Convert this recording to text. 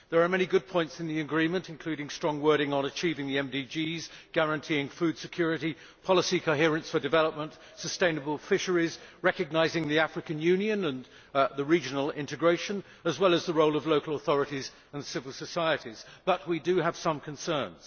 There are many good points in the agreement, including some strong wording on achieving the MDGs, guaranteeing food security, policy coherence for development, sustainable fisheries, recognising the African Union and regional integration, as well as the role of local authorities and civil society, but we do have some concerns.